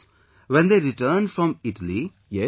So, when they returned from Italy...